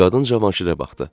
Qadın Cavanşirə baxdı.